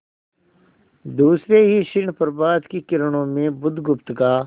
दूसरे ही क्षण प्रभात की किरणों में बुधगुप्त का